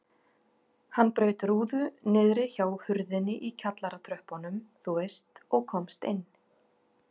Hann braut rúðu niðri hjá hurðinni í kjallaratröppunum þú veist og komst inn.